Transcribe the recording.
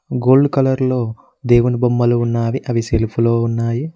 Gold colour లో దేవుని బొమ్మలు ఉన్నావి అవి సెల్ఫ్లో ఉన్నాయి.